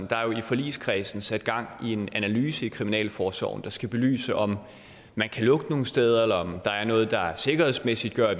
der er jo i forligskredsen sat gang i en analyse i kriminalforsorgen der skal belyse om man kan lukke nogle steder eller om der er noget der sikkerhedsmæssigt gør